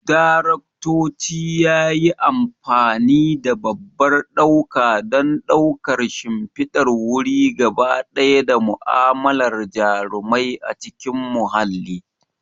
Daraktoci yayi amfani da babban ɗauka don ɗaukar shimfidar wuri gaba ɗaya da mu'amalar jarumai a cikin mahalli.